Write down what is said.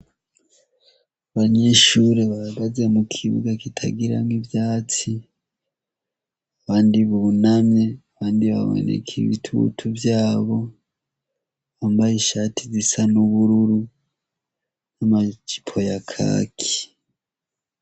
Abanyeshure bahagaze mu kibuga kitagiramwo ivyatsi, abandi bunamye, abandi baboneka ibitutu vyabo, bambaye ishati zisa n'ubururu n'amajipo ya kaki.